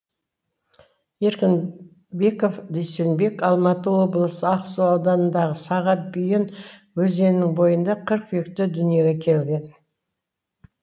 еркінбеков дүйсенбек алматы облысы ақсу ауданындағы саға бүйен өзенінің бойында қыркүйекте дүниеге келген